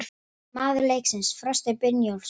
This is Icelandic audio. Maður leiksins: Frosti Brynjólfsson